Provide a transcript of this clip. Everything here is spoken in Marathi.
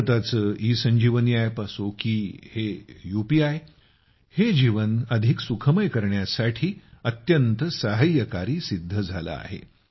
भारताचं ई संजीवनी अप असो की हे यूपीआय हे जीवन अधिक सुखमय करण्यासाठी अत्यंत सहाय्यकारी सिद्ध झालं आहे